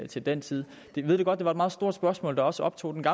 til den tid jeg ved godt at det er et meget stort spørgsmål der også optog den